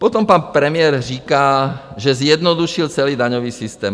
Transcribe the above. Potom pan premiér říká, že zjednodušil celý daňový systém.